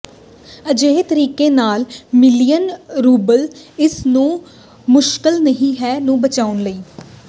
ਅਜਿਹੇ ਤਰੀਕੇ ਨਾਲ ਮਿਲੀਅਨ ਰੂਬਲ ਇਸ ਨੂੰ ਮੁਸ਼ਕਲ ਨਹੀ ਹੈ ਨੂੰ ਬਚਾਉਣ ਲਈ